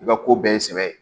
I ka ko bɛɛ ye sɛbɛn ye